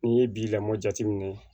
N'i ye bi lamɔ jateminɛ